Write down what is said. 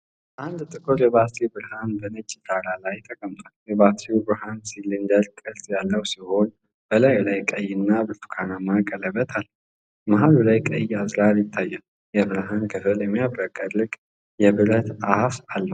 አንድ ጥቁር የባትሪ ብርሃን በነጭ ዳራ ላይ ተቀምጧል። የባትሪው ብርሃን ሲሊንደራዊ ቅርጽ ያለው ሲሆን፣ በላዩ ላይ ቀይ እና ብርቱካንማ ቀለበት አለው። መሃል ላይ ቀይ አዝራር ይታያል፤ የብርሃን ክፍሉ የሚያብረቀርቅ የብረት አፍ አለው።